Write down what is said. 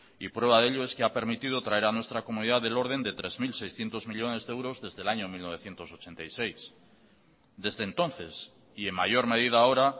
y prueba de ello es que ha permitido traer a nuestra comunidad del orden de tres mil seiscientos millónes de euros desde el año mil novecientos ochenta y seis desde entonces y en mayor medida ahora